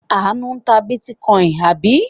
Àánú ta bítíkọ́ìn, àbí?